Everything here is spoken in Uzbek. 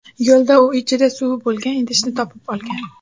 Yo‘lda u ichida suvi bo‘lgan idishni topib olgan.